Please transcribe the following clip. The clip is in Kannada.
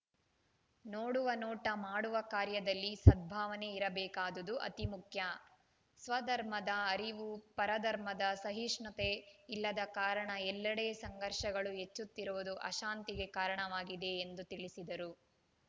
ನೋಡುವ ನೋಟ ಮಾಡುವ ಕಾರ್ಯದಲ್ಲಿ ಸದ್ಭಾವನೆ ಇರಬೇಕಾದುದು ಅತಿ ಮುಖ್ಯ ಸ್ವ ಧರ್ಮದ ಅರಿವು ಪರ ಧರ್ಮದ ಸಹಿಷ್ಣುತೆ ಇಲ್ಲದ ಕಾರಣ ಎಲ್ಲೆಡೆ ಸಂಘರ್ಷಗಳು ಹೆಚ್ಚುತ್ತಿರುವುದು ಅಶಾಂತಿಗೆ ಕಾರಣವಾಗಿದೆ ಎಂದು ತಿಳಿಸಿದರು